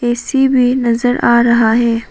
AC भी नजर आ रहा है।